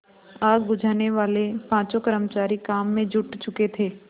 आग बुझानेवाले पाँचों कर्मचारी काम में जुट चुके थे